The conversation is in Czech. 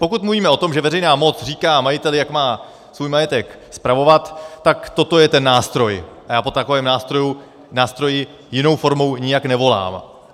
Pokud mluvíme o tom, že veřejná moc říká majiteli, jak má svůj majetek spravovat, tak toto je ten nástroj a já po takovém nástroji jinou formou nijak nevolám.